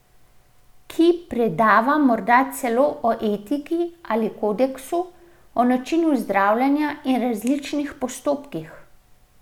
Ki predava morda celo o etiki ali kodeksu, o načinu zdravljenja in različnih postopkih.